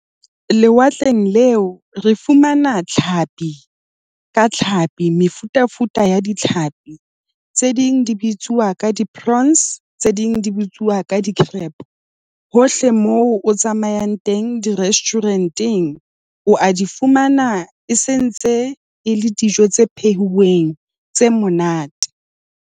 Lewatleng leo, re fumana tlhapi ka tlhapi. Mefutafuta ya ditlhapi, tse ding di bitsuwa ka di-prawns. Tse ding di bitsuwa ka di-crab. Hohle moo o tsamayang teng, di-restaurant-eng o a di fumana e sentse e le dijo tse pheuweng tse monate.